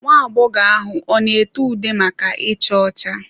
Nwa agbọghọ ahụ ọ na ete ude maka icha ọcha?